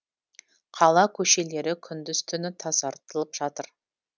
қала көшелері күндіз түні тазартылып жатыр